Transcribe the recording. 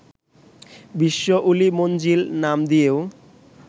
বিশ্ব ওলি মঞ্জিল নাম দিয়েও